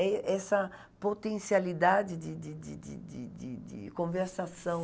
É essa potencialidade de de de de de de de conversação.